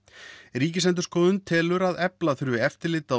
Ríkisendurskoðun telur að efla þurfi eftirlit á